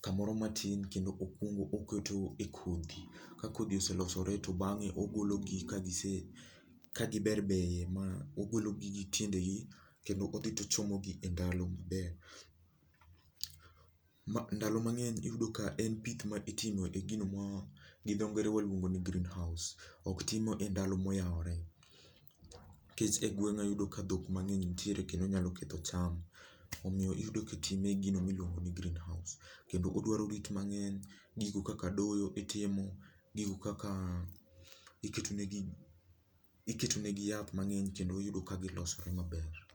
kamoro matin kendo okwongo oketo e kodhi. Ka kodhi oselosore to bang'e ogolo gi kagise kagiberberie ma ogologi gi tiende gi kendo odhi tochomo gi e ndalo ma ndalo mang'eny iyudo ka en pith ma itimo e gino ma gi dho ngere waluongo ni greenhouse ok timo e ndalo moyawore. Nikech e gweng'a iyudo ka dhok mang'eny nitiere kendo nyalo ketho cham. Omiyo iyudo kitime e gino miluongo ni greenhouse. Kendo odwaro rit mang'eny, gigo kaka doyo itimo, gigo kaka iketo negi iketo negi yath mang'eny kendo iyudo ka gilosore maber